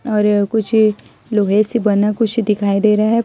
और यह कुछ लोहे से बना कुछ दिखाई दे रहा है।